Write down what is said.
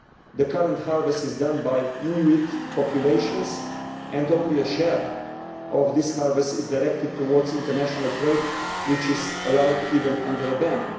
The current harvest is done by Inuit populations and only a share of this harvest is directed towards international trade, which is allowed even under a ban.